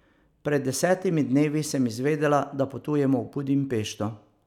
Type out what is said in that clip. Pred desetimi dnevi sem izvedela, da potujem v Budimpešto.